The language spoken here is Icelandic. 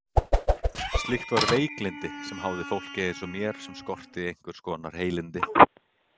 Slíkt var veiklyndi sem háði fólki eins og mér sem skorti einhvers konar heilindi.